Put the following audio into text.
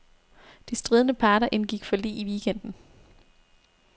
De stridende parter indgik forlig i weekenden.